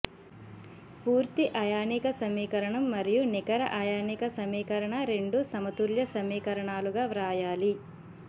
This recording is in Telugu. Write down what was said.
పూర్తి అయానిక సమీకరణం మరియు నికర అయానిక సమీకరణ రెండూ సమతుల్య సమీకరణాలుగా వ్రాయాలి